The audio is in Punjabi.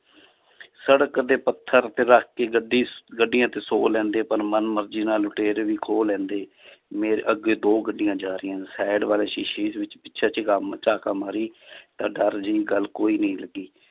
ਸੜਕ ਦੇ ਪੱਥਰ ਤੇ ਰੱਖ ਕੇ ਗੱਡੀ ਗੱਡੀਆਂ ਤੇ ਸੌ ਲੈਂਦੇ ਪਰ ਮਨ ਮਰਜ਼ੀ ਨਾਲ ਲੁਟੇਰੇ ਵੀ ਖੋਹ ਲੈਂਦੇ ਮੇਰੇ ਅੱਗੇ ਦੋ ਗੱਡੀਆਂ ਜਾ ਰਹੀਆਂ side ਵਾਲੇ ਸ਼ੀਸ਼ੇ ਵਿੱਚ ਪਿੱਛੇ ਝੁਕਾਮ ਝਾਕਾ ਮਾਰੀ ਤਾਂ ਡਰ ਜਿਹੀ ਗੱਲ ਕੋਈ ਨਹੀਂ ਲੱਗੀ l